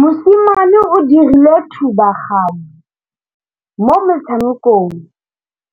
Mosimane o dirile thubaganyô mo motshamekong